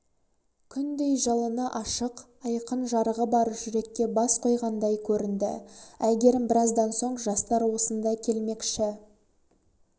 күндей жалыны ашық айқын жарығы бар жүрекке бас қойғандай көрінді әйгерім біраздан соң жастар осында келмекші